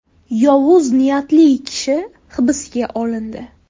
Yovuz niyatli kishi hibsga olindi.